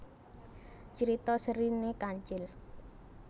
Crita serine Kancil